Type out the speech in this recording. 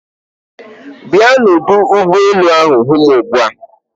Bịa n'ọdụ ụgbọ elu hụ m ugbu a